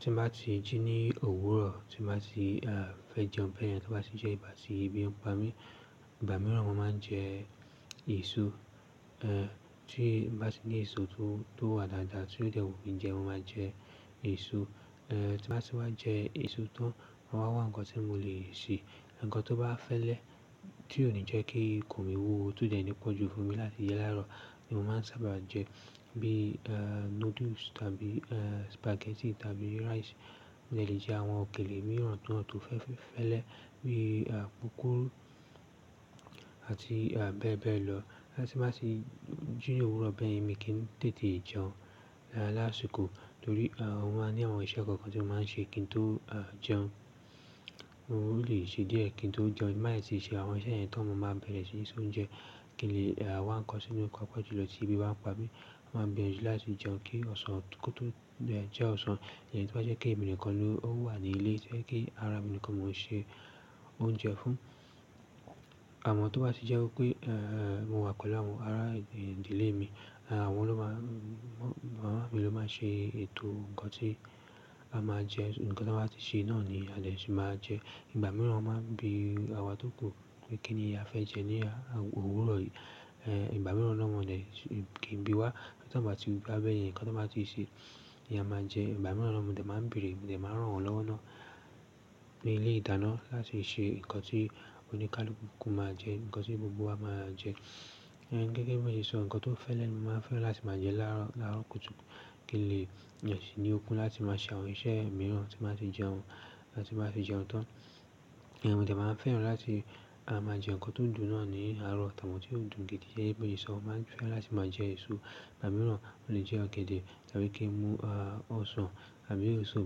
Tí mo bá ti jí ní òwúrọ̀, tí mo bá ti, uh, fẹ́ jẹun bẹ́ẹ̀ yẹn, tí mo bá ti jẹ ìgbà tí ebi, ń pá mi-- ìgbà mìíràn mo máa ń jẹ èso. Uh, tí bá ti ní èso tó, tó wà dáadáa, tí ó dẹ wunmi jẹ, mo máa jẹ èso. Uh, tí mo bá ti wá jẹ èso tán, mo máa wá ń kan tí mo lè ṣe. Ẹ̀ẹ̀, nǹkan tó bá fẹ́lẹ́ tí ò ní jẹ́ kí ikùn mí wúwo ó ti o dẹ́ ní pọ̀jù fún mi láti jẹ láàárọ̀ ni mo máa ń sábà jẹ, bí i, uh, noodles tàbí, uh, spaghetti tàbí rice. Mo jẹ̀ lè jẹ àwọn òkèlè mìíràn tó, tó fẹ́-fẹ́-fẹ́lẹ́ bí i, uh, púpúrú àti, uh, bẹ́ẹ̀ bẹ́ẹ̀ lọ. Bóyá tí bá ti jí ní òwúrọ̀ bẹ́ẹ̀ yẹn, mi kì n tètè jẹun lásìkò torí o máa ń ní àwọn iṣẹ́ kan kan tí mo máa ń ṣe kí n tó jẹun. O lè ṣe díẹ̀ kí n tó jẹun. Tí bá ti ṣe àwọn iṣẹ́ yẹn tán mọ máa bẹ̀rẹ̀ sí ní ṣe oúnjẹ, kí n lè wá ń kan sínú papa jùlọ tí ebi bá n pà mí, mo máa bẹ̀rẹ̀ sí láti jẹun kí ọ̀sán kó tó-- jẹ́ ọ̀sán. Ẹ̀ tí bá jẹ́ pé èmi nìkan ló wà ní ilé tó jẹ́ pé ara mi nìkan mo máa ṣe oúnjẹ fún. Àmọ́ tí wọ́n bá ti jẹ́ kó pé, mo wà pẹ̀lú àwọn ará ìdílé mi, àwọn ló má-- maa ló máa ṣe ètò nǹkan tí a máa jẹ. Nǹkan tí wọ́n bá ti ṣe náà ni a jẹ́ sì máa jẹ. Ìgbà míràn ó máa ń bi àwa tó kù pé kíní a fẹ́ jẹ lo òwúrọ̀ yí ìgbà mìíràn náà wọn jè kí n bí wá. Tí wọ́n bá ti bi wa bẹ́ẹ̀ yẹn, nǹkan tí wọ́n bá ti ṣe, ni a máa jẹ. Ìgbà mìíràn náà mọ dẹ́ máa ń béèrè, mo dẹ́ máa ń ràn wọn lọ́wo náà, pe ilé-ìdáná láti ṣe nǹkan tí oníkálukú máa jẹ, nǹkan tí gbogbo wa máa jẹ. Gẹ́gẹ́ bí mo ṣe sọ nǹkan tó fẹ́lẹ́ ni mo máa fẹ́ràn láti máa jẹ láàárọ̀, láàárọ̀ kùtùkù. Kí lè jẹ́ ṣì ní okun láti máa ṣe àwọn iṣẹ́ mìíràn tí mo bá ti jẹun, bá ti bá ti jẹun tán. Mo jẹ́ máa ń fẹ́ràn láti máa jẹ nǹkan tó dùn náà ní àárọ̀. Àti àwọn tí ó dùn gidi jẹ́ pé esọ, mo máa ń fẹ́ láti máa jẹ èso. Ìgbà mìíràn mo lè jẹ ọ̀gẹ̀dẹ̀ tàbí kí n mú ọsàn tàbí èso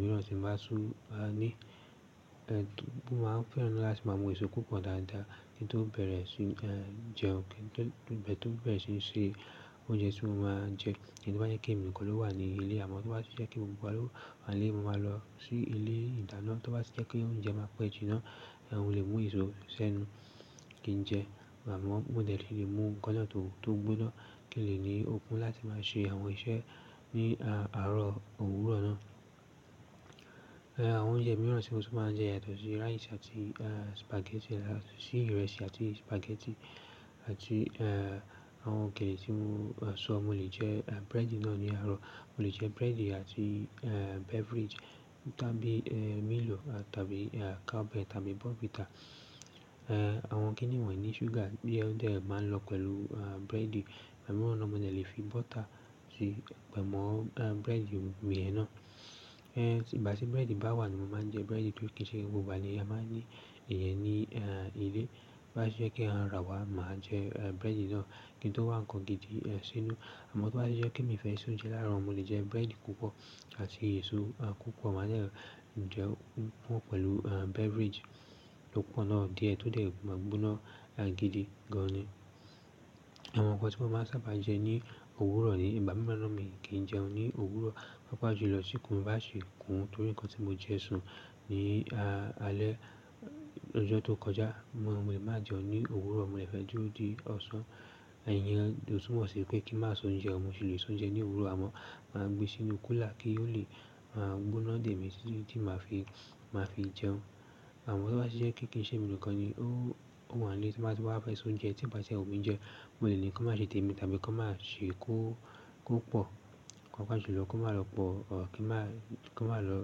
mìíràn tí mo bá tún bá ní. Mo máa ń fẹ́ràn láti máa mú èso púpọ̀ dáadáa kí n tó bẹ̀rẹ̀ sí jẹun kí n tó bẹ̀rẹ̀ sí í ṣe oúnjẹ tí mo máa jẹ. Tó bá jẹ́ kí èmi nìkan ló wà ní ilé, àmọ́ tó bá ti jẹ́ pé gbogbo wa ló wà nílé, mo máa lọ sí ilé-ìdáná tó bá ti jẹ́ pé oúnjẹ máa pẹ́ jiná. Mo lè mú èso sẹ́nu kí n jẹ àmọ́ mo dè lè mú nǹkan náà tó, tó gbóná kí lè ní okun láti máa ṣe àwọn iṣẹ́ ní àárọ̀ òwúrọ̀ náà. Àwọn oúnjẹ míràn tí mo tún ma jẹ yàtọ̀ sí rice àti spaghetti, yàtọ̀ sí ìrẹsì àti spaghetti àti àwọn òkèlè tí mo sọ. Mo lè jẹ, uh, búrẹ́dì náà ní àárọ̀. Mo lè jẹ búrẹ́dì àti, beverage tàbí Milo tàbí, Cowbell tàbí Bournvita. Àwọn kíni wọ̀nyí ní ṣúgà bí ẹ́ dẹ̀ máa ń lọ pẹ̀lú búrẹ́dì. Ìgbà mìíràn náà mo jẹ́ lè fi butter sí pẹ̀ mọ́ búrẹ́dì mi yẹ́n náà. Ìgbáti búrẹ́dì bá wà ni mo máa ń jẹ búrẹ́dì torí kí ṣe gbogbo ìgbà ni a máa ní ìyẹn ni ilé. Tó bá ti jẹ́ kí a rà wá, màá jẹ búrẹ́dì náà kí n tó wá nǹkan gidi sínú. Àmọ́ tí ó bá ti jẹ́ pé mi fẹ́ ṣe oúnjẹ láàárọ̀, mo lè jẹ búrẹ́dì púpọ̀ àti èso púpọ̀. Màá jẹ́ jẹun púpọ̀ pẹ̀lú beverage tó pọ̀ náà díẹ̀ tó dẹ̀ ma gbóná gidi gan ni. Àwọn nǹkan tí mo máa ń sábà jẹ ní òwúrọ̀ ni ìgbà mìíràn náà mi kíì jẹun ní òwúrọ̀. Pápá jù lọ tíkun mi bá sì kún torí nǹkan tí mo jẹ sùn ní alẹ́ lọ́jọ́ tó kọjá. Mo lè má jẹun ní òwúrọ̀, mo lè fẹ́ dúró di ọ̀sán. Ìyẹn ò tùmọ̀ ṣì pé kí má ṣe oúnjẹ, mo sì lè ṣe oúnjẹ ní òwúrọ̀ àmọ́, màá gbé sínú cooler kí ó lè gbóná dé mi tí màá fi, màá fi jẹun. Àmọ́ tí ó bá ti jẹ́ pekíi kí n ṣe èmi nìkan ni ó wà nílé tí wọ́n bá ti wá fẹ́ sún jẹ, tí bá ti ó mi jẹ, mo lè ní kí wọ́n má ṣe tẹ́ mi tàbí kí wọ́n má ṣe kó, kó pọ̀. Papa jù lọ kó má lọ pọ̀, kí màá-- ko má lọ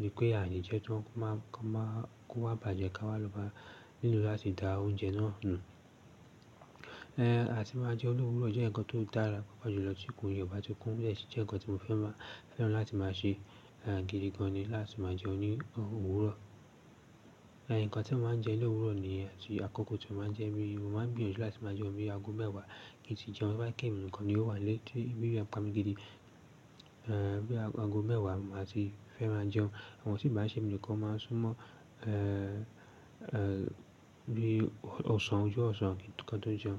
wípé ààlè jẹ tán, kó má, kó má kó wá bàjẹ́ ká wá lọ ma lero láti dà oúnjẹ náà nu àti máa jẹun ní òwúrọ̀ jẹ́ ǹkan tó dára pápá jù lọ tíkun mi obá ti kún ọ jẹ́ si je ǹkan tí mo fẹ́ máa fẹ́ràn láti máa ṣe gidi gan ni láti máa jẹun ní òwúrọ̀. Nǹkan tí mo máa ń jẹ ní òwúrọ̀ nìyẹn àti àkọ́kọ́ tí mo máa ń jẹ bí mo máa ń gbìyànjú láti máa jẹun bíi ago mẹ́wàá kí n ti jẹun. Tó bá jẹ́ èmi nìkan ni ó wà nílé tí ebí je n pa mi gidi. Bí ago mẹ́wàá màá ti fẹ́ máa jẹun. Àmọ́ tí bá ti ṣe emi nìkan máa sún mọ́, bí i ọ̀sán, ojú ọ̀sán ki n tó ka tó jẹun.